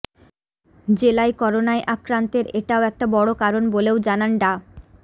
জেলায় করোনায় আক্রান্তের এটাও একটা বড় কারণ বলেও জানান ডা